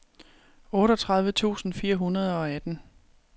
otteogtredive tusind fire hundrede og atten